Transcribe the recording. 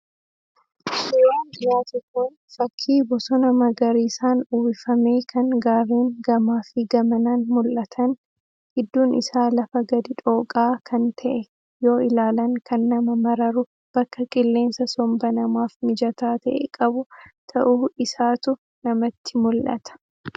Suuraan dhiyaate kun fakii Bosona magariisaan uwwifamee kan Gaarreen gamaafi gamanaan mul'atan, gidduun isaa lafa gadi dhooqaa kan ta'e, yoo ilaalan kan nama mararu bakka qilleensa somba namaaf mijataa ta'e qabu ta'uu isaatu namatti mul'ata.